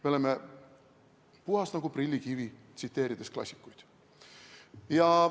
Me oleme puhtad nagu prillikivi, tsiteerides klassikuid.